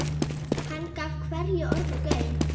Hann gaf hverju orði gaum.